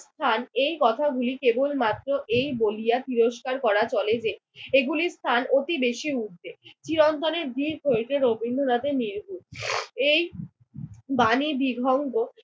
স্থান। এই কথাগুলি কেবলমাত্র এই বলিয়া তিরস্কার করা চলে যে, এগুলির স্থান অতি বেশি ঊর্ধ্বে। চিরন্তনের ভীর হইতে রবীন্দ্রনাথের এই বাণী বিধঙ্গ